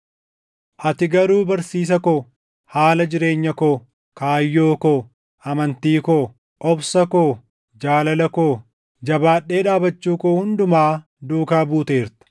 Ati garuu barsiisa ko, haala jireenya koo, kaayyoo koo, amantii koo, obsa koo, jaalala koo, jabaadhee dhaabachuu koo hundumaa duukaa buuteerta;